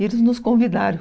E eles nos convidaram.